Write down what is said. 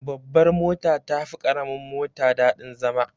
Babbar mota tafi karamin mota daɗin zama.